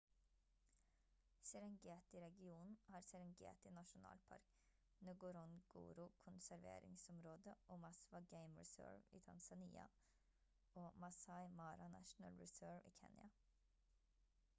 serengeti-regionen har serengeti nasjonalpark ngorongoro konserveringsområde og maswa game reserve i tanzania og maasai mara national reserve i kenya